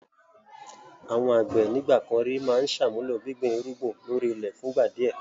Àwọn àgbẹ̀ ń ìgbàkan ríi máa ń sààmuló gbíngbin irúgbìn ló rí ilẹ̀ fún ìgbà di ẹ.